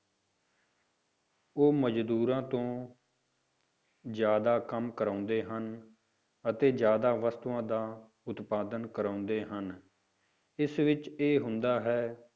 ਉਹ ਮਜ਼ਦੂਰਾਂ ਤੋਂ ਜ਼ਿਆਦਾ ਕੰਮ ਕਰਵਾਉਂਦੇ ਹਨ, ਅਤੇ ਜ਼ਿਆਦਾ ਵਸਤੂਆਂ ਦਾ ਉਤਪਾਦਨ ਕਰਵਾਉਂਦੇ ਹਨ, ਇਸ ਵਿੱਚ ਇਹ ਹੁੰਦਾ ਹੈ,